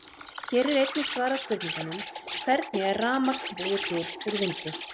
Hér er einnig svarað spurningunum: Hvernig er rafmagn búið til úr vindi?